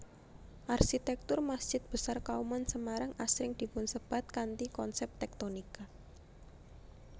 Arsitektur Masjid Besar Kauman Semarang asring dipunsebat kanthi konsep tektonika